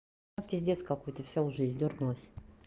а пиздец какой-то вся уже издёргалась